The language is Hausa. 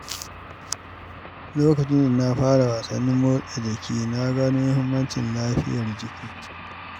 Lokacin da na fara wasannin motsa jiki, na gano muhimmancin lafiyar jiki.